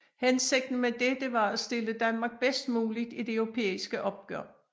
Hensigten med dette var at stille Danmark bedst muligt i det europæiske opgør